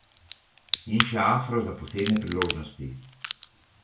In še afro za posebne priložnosti.